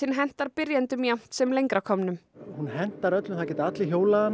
hentar byrjendum jafnt sem lengra komnum hún hentar öllum það geta allir hjólað hana